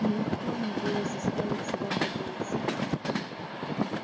нелегко им было заставить себя подняться